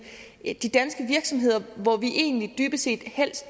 de danske virksomheder hvor vi egentlig dybest set